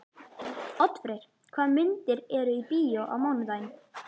Oddfreyr, hvaða myndir eru í bíó á mánudaginn?